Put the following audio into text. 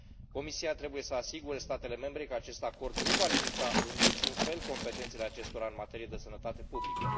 Comisia trebuie să asigure statele membre că acest acord nu va limita în niciun fel competențele acestora în materie de sănătate publică.